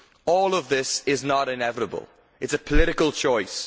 All of this is not inevitable. It is a political choice.